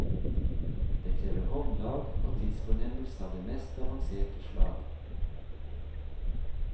Det krever håndlag og tidsfornemmelse av det mest avanserte slag.